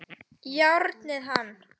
Járnið hann!